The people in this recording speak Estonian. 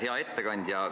Hea ettekandja!